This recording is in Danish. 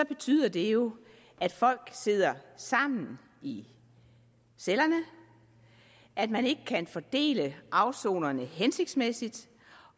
betyder det jo at folk sidder sammen i cellerne at man ikke kan fordele afsonerne hensigtsmæssigt